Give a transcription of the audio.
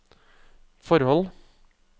forhold